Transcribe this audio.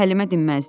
Həlimə dinməzdi.